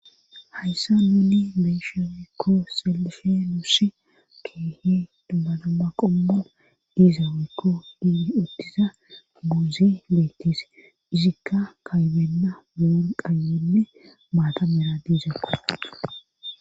Hayssa nuni beishe wekko selife nusi keehi duma duma qombu diiza weykko di uttiza buuzi beettise izikka kaybenna boon qayenne maata mela diizekko.